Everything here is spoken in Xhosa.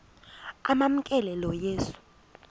amamkela lo yesu